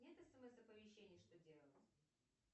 нет смс оповещений что делать